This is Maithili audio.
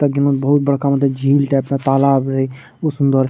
ताकि म बहुत बड़का मतलब झिल टाइप का तालाब रहे ऊसमें बड़ --